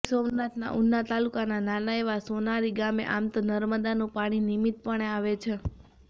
ગીર સોમનાથના ઉના તાલુકાના નાના એવા સોનારી ગામે આમ તો નર્મદાનું પાણી નિયમિતપણે આવે છે